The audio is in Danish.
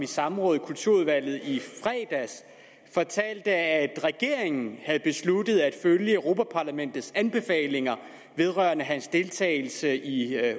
samrådet i kulturudvalget i fredags fortalte at regeringen havde besluttet at følge europa parlamentets anbefalinger vedrørende hans deltagelse i